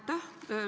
Aitäh!